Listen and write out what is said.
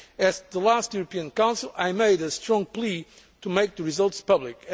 banks. At the last European Council, I made a strong plea to make the results